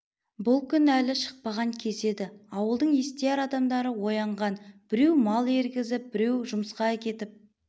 бұл күн әлі шықпаған кез еді ауылдың естияр адамдары оянған біреу мал ергізіп біреу жұмысқа кетіп